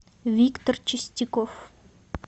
виктор чистяков